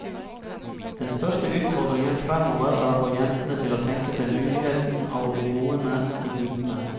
Den største utfordringen fremover er å få jentene til å tenke seg muligheten av å bli boende i bygdene.